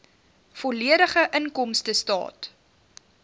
volledige inkomstestaat